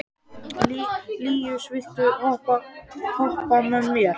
Líus, viltu hoppa með mér?